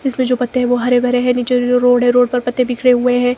इसमें जो पत्ते है वो हरे भरे हैं नीचे जो रोड है रोड पर पत्ते बिखरे हुए हैं।